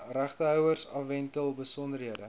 regtehouers afwentel besonderhede